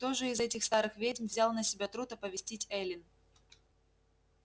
кто же из этих старых ведьм взял на себя труд оповестить эллин